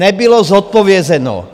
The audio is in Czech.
Nebylo zodpovězeno.